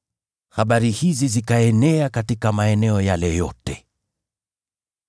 Habari hizi zikaenea katika maeneo yale yote.